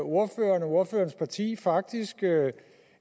ordføreren og ordførerens parti faktisk